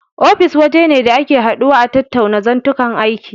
Ofis waje ne da ake haduwa a tattauna zantuka aiki.